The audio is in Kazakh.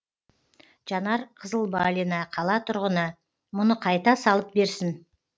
жанар қызылбалина қала тұрғыны мұны қайта салып берсін